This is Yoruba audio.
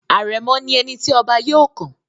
Àrẹ̀mọ̀ ni ẹni tí ọba yóò kàn.